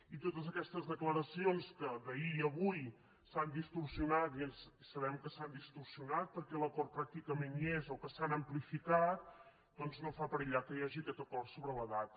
i totes aquestes declaracions que d’ahir i d’avui s’han distorsionat i sabem que s’han distorsionat perquè l’acord pràcticament hi és o que s’han amplificat doncs no fan perillar que hi hagi aquest acord sobre la data